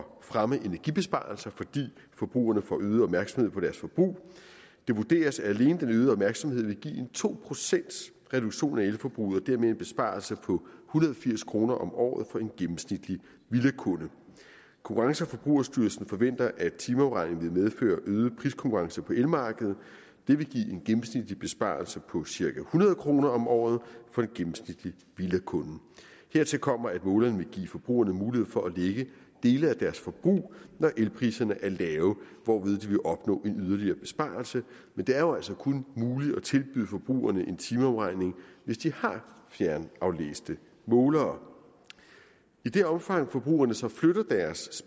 fremme energibesparelser fordi forbrugerne får øget opmærksomhed på deres forbrug det vurderes at alene den øgede opmærksomhed vil give en to procentsreduktion af elforbruget og dermed en besparelse på hundrede og firs kroner om året for en gennemsnitlig villakunde konkurrence og forbrugerstyrelsen forventer at timeafregning vil medføre øget priskonkurrence på elmarkedet det vil give en gennemsnitlig besparelse på cirka hundrede kroner om året for en gennemsnitlig villakunde hertil kommer at målerne vil give forbrugerne mulighed for at lægge dele af deres forbrug når elpriserne er lave hvorved de vil opnå en yderligere besparelse men det er jo altså kun muligt at tilbyde forbrugerne en timeafregning hvis de har fjernaflæste målere i det omfang forbrugerne så flytter deres